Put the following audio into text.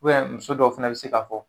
muso dɔw fɛnɛ be se ka fɔ